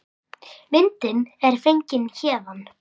Myndin er fengin héðan.